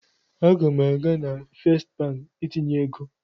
Aga m aga na Fest Banki itinye ego.